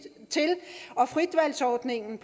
og fritvalgsordningen